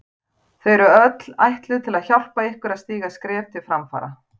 Þau eru öll ætluð til að hjálpa ykkur að stíga skref til framfara.